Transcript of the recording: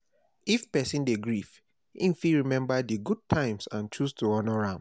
If person dey grief im fit remember di good times and choose to honor am